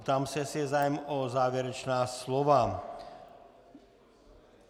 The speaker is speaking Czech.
Ptám se, jestli je zájem o závěrečná slova.